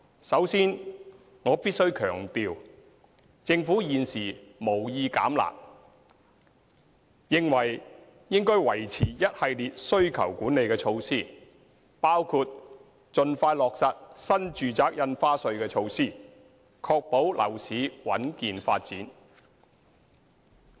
首先，我必須強調，政府現時無意"減辣"，認為應該維持一系列需求管理措施，包括盡快落實新住宅印花稅措施，確保樓市穩健發展。